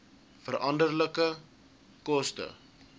veranderlike koste